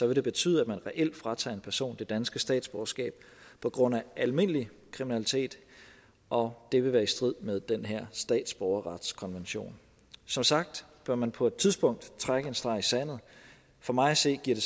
vil det betyde at man reelt fratager en person det danske statsborgerskab på grund af almindelig kriminalitet og det vil være i strid med den her statsborgerretskonvention som sagt bør man på et tidspunkt trække en streg i sandet for mig at se giver det